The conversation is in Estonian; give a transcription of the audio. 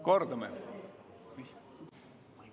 Kordame!